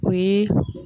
O ye